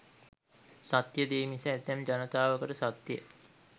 සත්‍ය දේ මිස ඇතැම් ජනතාවකට සත්‍ය